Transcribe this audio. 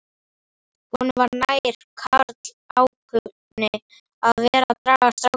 Honum var nær, karlálkunni, að vera að draga strákinn hingað